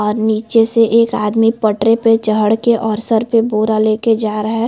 और निचे से एक आदमी पटरी पे चढ़ के और सर पे बोरा ले के जा रहा है।